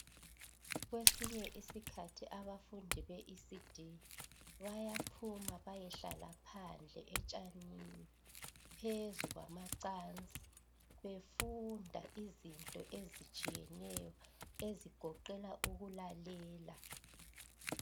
Kwesinye isikhathi abafundi beECD bayaphuma bayehlala phandle etshanini, phezu kwamacansi befunda izinto ezitshiyeneyo ezigoqela ukulalela.